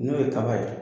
N'o ye kaba ye